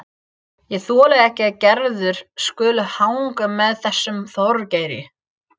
Ég þoli ekki að Gerður skuli hanga með þessum Þorgeiri.